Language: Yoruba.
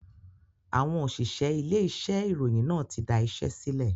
Àwọn òṣìṣẹ́ ilé iṣẹ́ ìròyìn náà tí da iṣẹ́ sílẹ̀